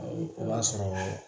O b'a sɔrɔ